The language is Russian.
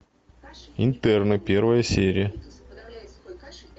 интерны первая серия